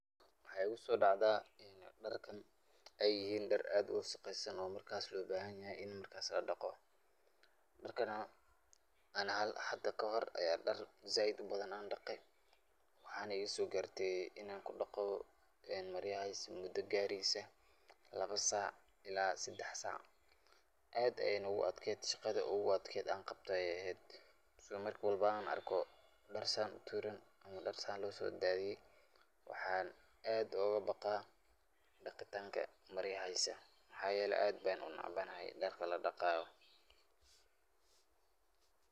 Waxa iguso dhacda ini dharkan ay yihin dhar aad uwasaqesan oo markas loo bahan yahay markas ini laa dhaqo. dhargan ani hada kahore aya dhar zaaid ubadan an dhaqee, waxana igaaso garte inan kudhaqo maryahas muda gareysa labo saac ilaa sedex saac, aad ayana u adked, shaqada ogu adked an qabto ayay ehed, isla markan arko dhar San utuuran ama dhar San looso daadiye waxan aad oga baqaa daqitanka maryihisa maxayele aad ban unecbanahay dharka ladhaqaayo